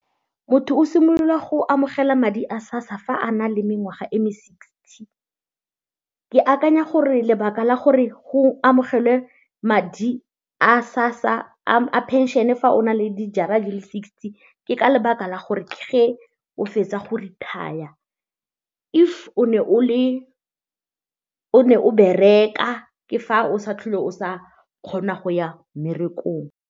Motho o simolola go amogela madi a SASSA fa a na le mengwaga e me-sixty ke akanya gore lebaka la gore go amogelwe madi a sa sa a pension-e fa o na le di jara di le sixty ke ka lebaka la go retire. If o fetsa go retire o ne o bereka ke fa o sa tlhole o sa kgona go ya mmerekong.